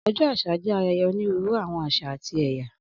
Ọjọ́ àṣà ṣe ayẹyẹ onírúurú àwọn àṣà àti èyà